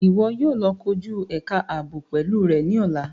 Iwọ yóò lọ koju ẹka aabo pẹlu rẹ ni ọla!